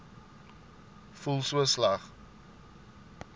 voel so sleg